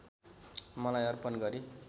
मलाई अर्पण गरी